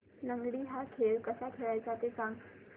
लंगडी हा खेळ कसा खेळाचा ते सांग